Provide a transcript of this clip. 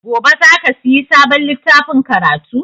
Gobe za ka siya sabon littafin karatu?